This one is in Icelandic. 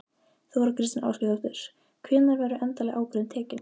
Þóra Kristín Ásgeirsdóttir: Hvenær verður endaleg ákvörðun tekin?